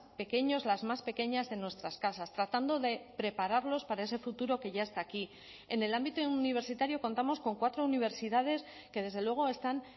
pequeños las más pequeñas de nuestras casas tratando de prepararlos para ese futuro que ya está aquí en el ámbito universitario contamos con cuatro universidades que desde luego están